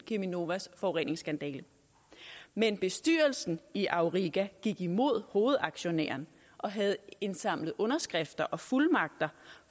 cheminovas forureningsskandale men bestyrelsen i auriga gik imod hovedaktionæren og havde indsamlet underskrifter og fuldmagter